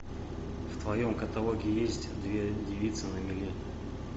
в твоем каталоге есть две девицы на мели